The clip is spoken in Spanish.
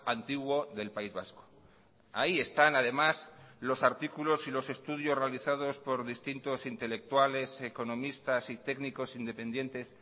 antiguo del país vasco ahí están además los artículos y los estudios realizados por distintos intelectuales economistas y técnicos independientes